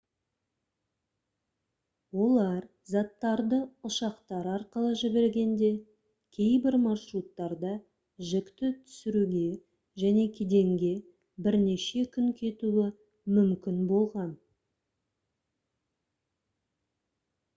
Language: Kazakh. олар заттарды ұшақтар арқылы жібергенде кейбір маршруттарда жүкті түсіруге және кеденге бірнеше күн кетуі мүмкін болған